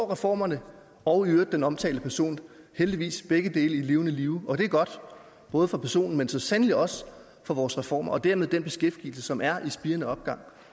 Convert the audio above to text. reformerne og i øvrigt den omtalte person heldigvis begge i levende live og det er godt både for personen men så sandelig også for vores reformer og dermed den beskæftigelse som er i spirende opgang